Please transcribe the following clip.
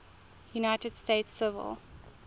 united states civil